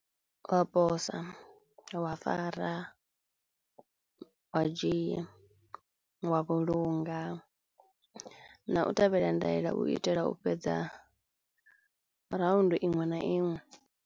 Wa posa, wa fara, wa dzhia, wa vhulunga na u tevhela ndaela u itela u fhedza round iṅwe na iṅwe.